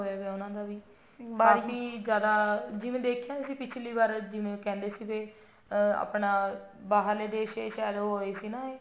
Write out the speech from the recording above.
ਉਹਨਾ ਦਾ ਵੀ ਕਾਫੀ ਜਿਆਦਾ ਜਿਵੇਂ ਦੇਖਿਆ ਸੀ ਅਸੀਂ ਪਿਛਲੀ ਵਾਰ ਜਿਵੇਂ ਕਹਿੰਦੇ ਸੀ ਆਹ ਆਪਣਾ ਬਾਹਰਲੇ ਦੇਸ਼ ਚ ਉਹ ਹੋਏ ਸੀ ਨਾ ਇਹ